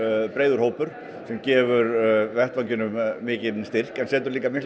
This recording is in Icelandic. breiður hópur sem gefur vettvanginum mikinn styrk en setur líka mikla